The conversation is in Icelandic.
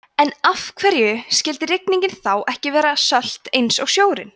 en af hverju skyldi rigningin þá ekki vera sölt eins og sjórinn